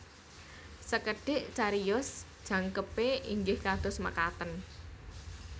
Sekedhik cariyos jangkepé inggih kados mekaten